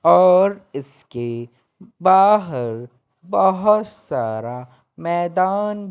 और इसके बाहर बहोत सारा मैदान--